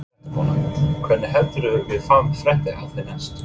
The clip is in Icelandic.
Fréttakona: Hvenær heldurðu að við fáum fréttir af þér næst?